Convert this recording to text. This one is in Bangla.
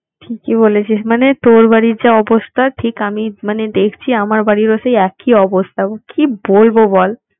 ঠিকই বলেছিস মানে তোর বাড়ির যে অবস্থা, ঠিক আমি মানে দেখছি আমার বাড়ির ও সেই একই অবস্থা। কি বলবো বল!